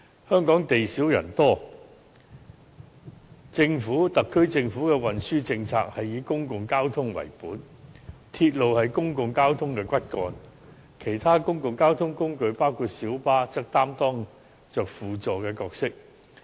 香港地少人多，特區政府的運輸政策是以公共交通為本，而鐵路是公共交通的骨幹，其他公共交通工具，包括小巴則擔當着輔助角色。